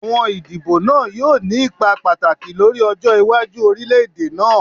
Awọn idibo naa yoo ni ipa pataki lori ọjọ iwaju orilẹ-ede naa.